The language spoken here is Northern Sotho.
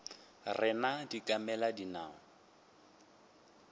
rena di ka mela dinao